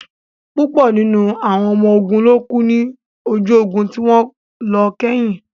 Púpọ̀ nínú àwọn ọmọ ogun ló kú ní ojú ogun tí wọ́n lọ kẹ́yìn